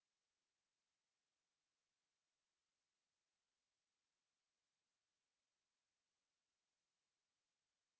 লিখুন this is my first assignment